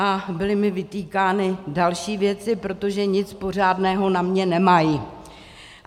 A byly mi vytýkány další věci, protože nic pořádného na mě nemají.